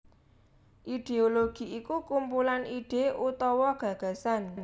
Idéologi iku kumpulan ide utawa gagasan